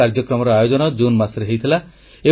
ଏହି କାର୍ଯ୍ୟକ୍ରମର ଆୟୋଜନ ଜୁନ ମାସରେ ହୋଇଥିଲା